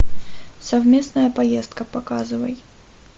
совместная поездка показывай